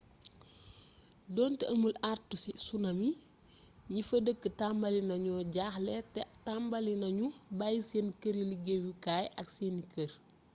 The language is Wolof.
donte amul àartu ci tsunami ñi fa dëkk tambali nañu jaaxle te tambali nañu bayyi seen këri-liggéeyukaay ak seeni kër